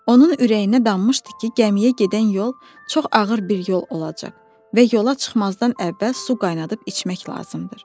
Onun ürəyinə dammışdı ki, gəmiyə gedən yol çox ağır bir yol olacaq və yola çıxmazdan əvvəl su qaynadıb içmək lazımdır.